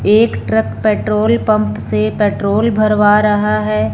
एक truck petrol pump से petrol भरवा रहा है।